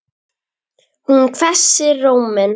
Hún hvessir róminn.